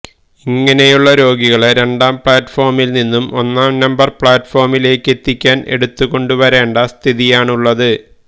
ഇങ്ങനെയുള്ള രോഗികളെ രണ്ടാംപ്ലാറ്റ് ഫോമില്നിന്നും ഒന്നാംനമ്പര് പ്ലാറ്റ്ഫോമിലേക്കെത്തിക്കാന് എടുത്തുകൊണ്ടുവരേണ്ട സ്ഥിതിയാണുള്ളത്